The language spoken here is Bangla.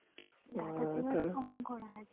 data saver on করা হয়